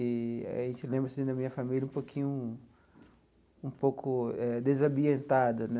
Eee a gente lembra assim da minha família um pouquinho um pouco eh desambientada, né?